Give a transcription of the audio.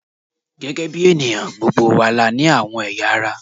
Gẹ́gẹ́ bí ènìyàn, gbogbo wa la ní àwọn ẹ̀yà ara